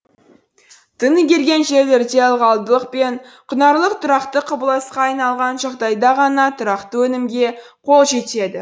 тың игерген жерлерде ылғалдылық пен құнарлылық тұрақты құбылысқа айналған жағдайда ғана тұрақты өнімге қол жетеді